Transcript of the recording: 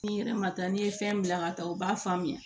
N'i yɛrɛ ma taa n'i ye fɛn bila ka taa u b'a faamuya